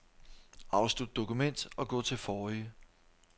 Afslut dokument og gå til forrige.